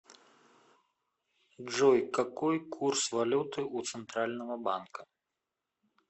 джой какой курс валюты у центрального банка